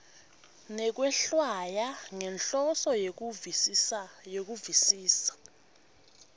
nekwehlwaya ngenhloso yekuvisisa